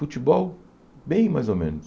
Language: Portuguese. Futebol, bem mais ou menos.